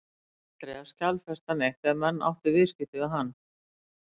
Það þurfti aldrei að skjalfesta neitt ef menn áttu viðskipti við hann.